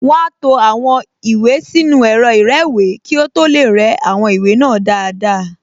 Wọ́n á to àwọn ìwé sínú ẹ̀rọ ìrẹ́wèé kí ó tó lè rẹ́ àwọn ìwé náà dáadáa